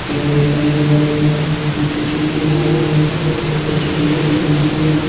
पेड़ दिख रहे है हरे भरे स्टेचू दिख रहे है ऊंची बिल्डिंग --